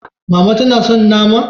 Mama tana son nama?